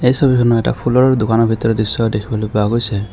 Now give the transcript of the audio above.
এই ছবিখনত এটা ফুলৰ দোকানৰ ভিতৰৰ দৃশ্য দেখিবলৈ পোৱা গৈছে।